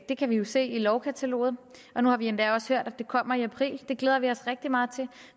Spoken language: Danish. det kan vi jo se i lovkataloget nu har vi endda også hørt at det kommer i april det glæder vi os rigtig meget til